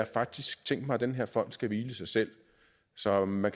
faktisk tænkt mig at den her fond skal hvile i sig selv så man